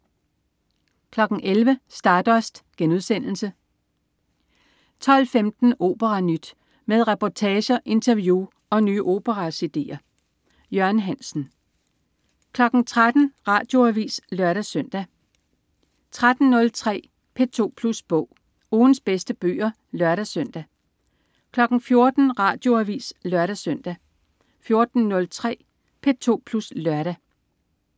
11.00 Stardust* 12.15 OperaNyt. Med reportager, interview og nye opera-cd'er. Jørgen Hansen 13.00 Radioavis (lør-søn) 13.03 P2 Plus Bog. Ugens bedste bøger (lør-søn) 14.00 Radioavis (lør-søn) 14.03 P2 Plus Lørdag